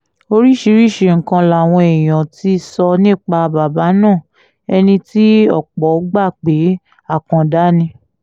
oríṣiríṣiì nǹkan làwọn èèyàn ti sọ nípa bàbá náà ẹni tí ọ̀pọ̀ gbà pé àkàndá ni